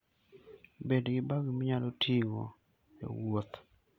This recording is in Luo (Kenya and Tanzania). Bed gi bag minyalo tigo e wuoth.